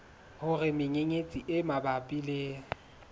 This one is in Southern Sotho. hore menyenyetsi e mabapi le